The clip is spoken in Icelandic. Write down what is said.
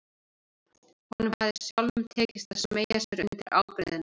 Honum hafði sjálfum tekist að smeygja sér undir ábreiðuna.